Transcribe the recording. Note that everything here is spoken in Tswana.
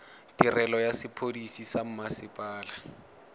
tirelo ya sepodisi sa mmasepala